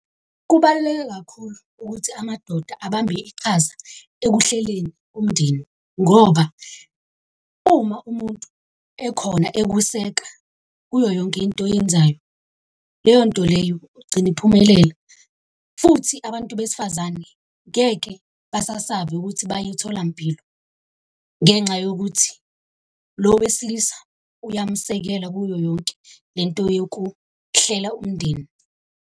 Kubaluleke kakhulu ukuthi amadoda abambe iqhaza ekuhleleni umndeni ngoba uma umuntu ekhona ekuseka kuyo yonke into oyenzayo leyo nto leyo ugcina iphumelela. Futhi abantu besifazane ngeke basasabe ukuthi baye etholampilo, ngenxa yokuthi lo wesilisa uyamsekela kuyo yonke le nto yokuhlela umndeni.